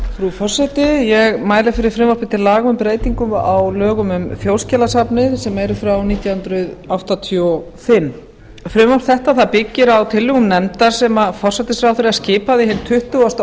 forseti ég mæli fyrir frumvarpi til laga um breytingu á lögum um þjóðskjalasafnið sem eru frá nítján hundruð áttatíu og fimm frumvarp þetta byggir á tillögum nefndar sem forsætisráðherra skipaði hinn tuttugasta og